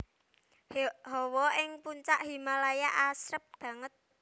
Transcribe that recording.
Hawa ning Puncak Himalaya asrep banget